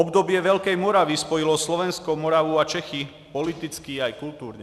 Období Velké Moravy spojilo Slovensko, Moravu a Čechy politicky i kulturně.